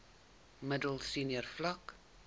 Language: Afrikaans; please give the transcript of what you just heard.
middel senior vlak